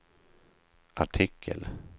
artikel